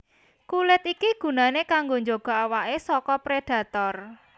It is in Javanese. Kulit iki gunané kanggo njaga awaké saka prédhator